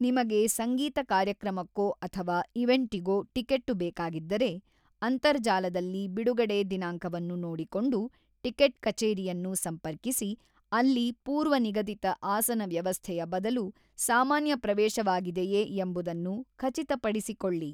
ನಿಮಗೆ ಸಂಗೀತ ಕಾರ್ಯಕ್ರಮಕ್ಕೊ ಅಥವಾ ಈವೆಂಟಿಗೊ ಟಿಕೆಟ್ಟು ಬೇಕಾಗಿದ್ದರೆ, ಅಂತರ್ಜಾಲದಲ್ಲಿ ಬಿಡುಗಡೆ ದಿನಾಂಕವನ್ನು ನೋಡಿಕೊಂಡು ಟಿಕೆಟ್ ಕಚೇರಿಯನ್ನು ಸಂಪರ್ಕಿಸಿ ಅಲ್ಲಿ ಪೂರ್ವ ನಿಗದಿತ ಆಸನ ವ್ಯವಸ್ಥೆಯ ಬದಲು ಸಾಮಾನ್ಯ ಪ್ರವೇಶವಾಗಿದೆಯೆ ಎಂಬುದನ್ನು ಖಚಿತಪಡಿಸಿಕೊಳ್ಳಿ.